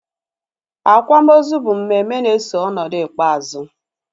Akwamozu bụ mmemme na-eso ọnọdụ ikpeazụ